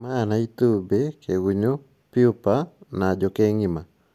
Maya na itumbĩ, kĩgunyũ, pupae na njũkĩ ng’ima